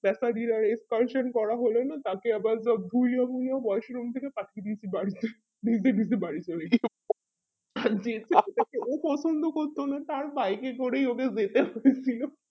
expression করা হলে না তাকের আবার যা ধুইয়া মুইয়ে washroom থেকে পাঠিয়ে দিয়েছে বাড়িতে ভিজে ভিজে বাড়ি চলে গি ও পছন্দ করতো না তার বাইরে করেই ওকে যেতে হয়ে ছিল